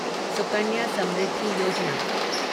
Sukanya Samriddhi Yojana